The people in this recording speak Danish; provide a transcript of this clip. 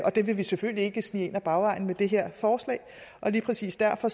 det vil vi selvfølgelig ikke snige ind ad bagvejen med det her forslag lige præcis derfor